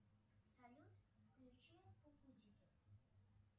салют включи кукутики